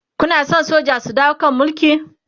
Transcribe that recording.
Kuna San soja su dawo kan Mulki?